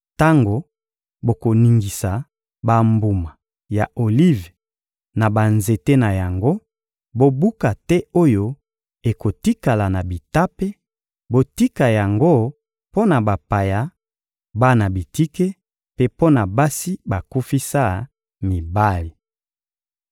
Tango bokoningisa bambuma ya olive na banzete na yango, bobuka te oyo ekotikala na bitape; botika yango mpo na bapaya, bana bitike mpe mpo na basi bakufisa mibali.